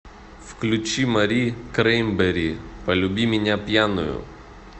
включи мари краймбери полюби меня пьяную